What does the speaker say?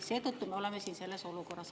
Seetõttu me oleme siin selles olukorras.